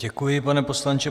Děkuji, pane poslanče.